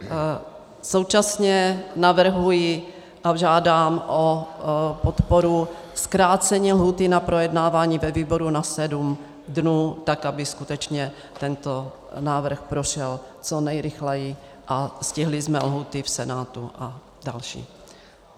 Současně navrhuji a žádám o podporu zkrácení lhůty na projednávání ve výboru na 7 dnů, tak aby skutečně tento návrh prošel co nejrychleji a stihli jsme lhůty v Senátu a další.